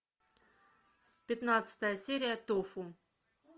пятнадцатая серия тофу